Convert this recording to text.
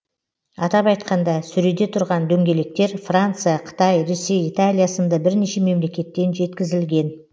атап айтқанда сөреде тұрған дөңгелектер франция қытай ресей италия сынды бірнеше мемлекеттен жеткізілген